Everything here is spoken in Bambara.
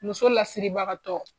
Muso lasiribagatɔ.